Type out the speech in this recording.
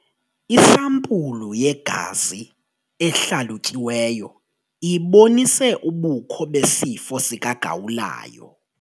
Isampulu yegazi ehlalutyiweyo ibonise ubukho besifo sikagawulayo.